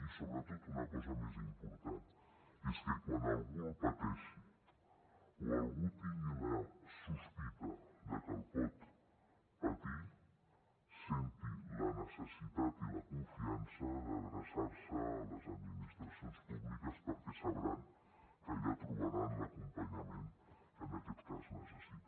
i sobretot una cosa més important i és que quan algú el pateixi o algú tingui la sospita de que el pot patir senti la necessitat i la confiança d’adreçar se a les administracions públiques perquè sabrà que allà trobarà l’acompanyament que en aquest cas necessita